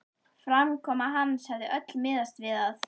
Framkoma hans hafði öll miðast við að